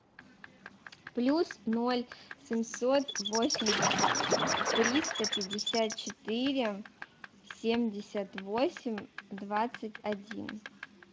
плюс ноль семьсот восемьдесят триста пятьдесят четыре семьдесят восемь двадцать один